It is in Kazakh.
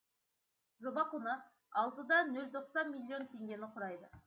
жоба құны алты да нөл тоқсан миллион теңгені құрайды